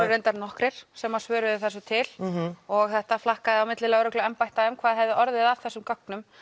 reyndar nokkrir sem svöruðu þessu til og þetta flakkaði á milli lögregluembætta hvað hefði orðið af þessum gögnum